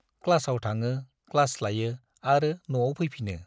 क्लासाव थाङो, क्लास लायो आरो नआव फैफिनो।